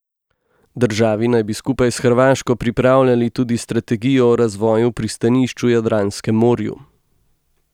Državi naj bi skupaj s Hrvaško pripravljali tudi strategijo o razvoju pristanišč v Jadranskem morju.